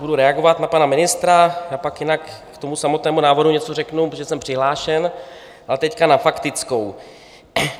Budu reagovat na pana ministra a pak jinak k tomu samotnému návrhu něco řeknu, protože jsem přihlášen, ale teď na faktickou.